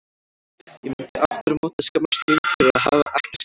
Ég myndi aftur á móti skammast mín fyrir að hafa ekkert gert.